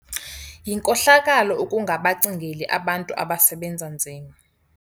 Yinkohlakalo ukungabacingeli abantu abasebenza nzima.